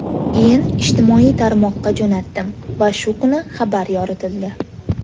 Keyin ijtimoiy tarmoqqa jo‘natdim va shu kuni xabar yoritildi.